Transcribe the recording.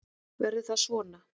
Verður það svona?